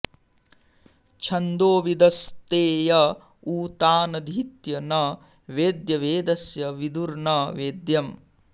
छन्दोविदस्ते य उ तानधीत्य न वेद्य वेदस्य विदुर्न वेद्यम्